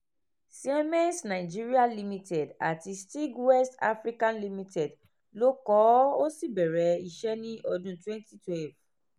siemens nigeria limited àti steag west africa limited ló kọ́ ọ ó sì bẹ̀rẹ̀ iṣẹ́ ní ọdún 2012